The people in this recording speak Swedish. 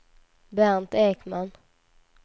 Bernt Ekman